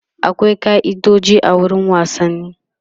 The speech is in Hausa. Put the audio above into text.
akwai kai'idoji a wurin wasanni